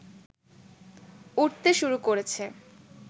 উঠতে শুরু করেছে